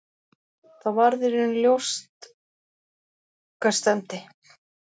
Þá varð í raun ljóst hvert stefndi.